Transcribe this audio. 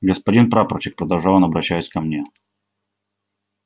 господин прапорщик продолжал он обращаясь ко мне